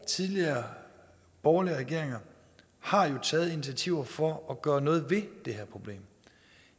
og tidligere borgerlige regeringer har jo taget initiativer for at gøre noget ved det her problem